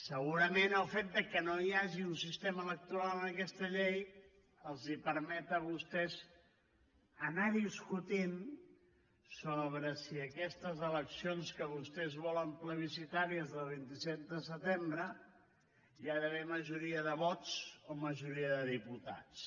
segurament el fet que no hi hagi un sistema electoral en aquesta llei els permet a vostès anar discutint sobre si en aquestes eleccions que vostès volen plebiscitàries del vint set de setembre hi ha d’haver majoria de vots o majoria de diputats